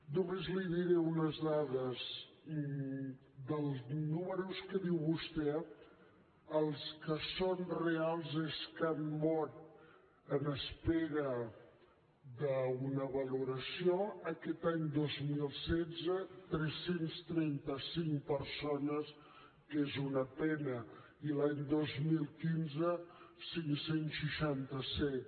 només li diré unes dades dels números que diu vostè els que són reals és que han mort en espera d’una valoració aquest any dos mil setze tres cents i trenta cinc persones que és una pena i l’any dos mil quinze cinc cents i seixanta set